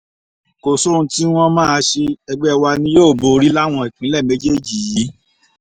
kò sóhun tí wọ́n máa ṣe ẹgbẹ́ wa ni yóò borí láwọn ìpínlẹ̀ méjèèjì yìí